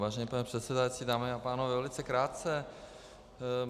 Vážený pane předsedající, dámy a pánové, velice krátce.